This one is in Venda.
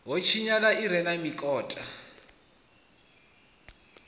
ho tshinyala i re mikota